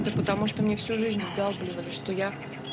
да потому что мне всю жизнь вдалбливали что я